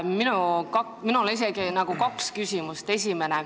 Minul on isegi kaks küsimust.